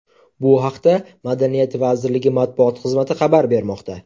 Bu haqda Madaniyat vazirligi matbuot xizmati xabar bermoqda .